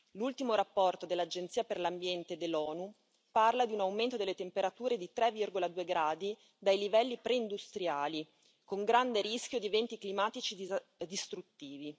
L'ultimo rapporto dell'Agenzia per l'ambiente dell'ONU parla di un aumento delle temperature di 3,2 gradi dai livelli preindustriali, con grande rischio di eventi climatici distruttivi.